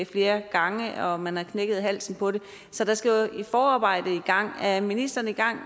flere gange og man har knækket halsen på det så der skal jo et forarbejde i gang er ministeren i gang